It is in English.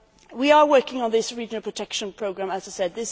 We are working on this regional protection programme, as I said.